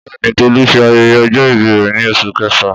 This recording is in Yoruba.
Bẹ́ẹ̀ ni, Tolu ṣe ayẹyẹ ọjọ́ ìbí rẹ̀ ní oṣù kẹfà.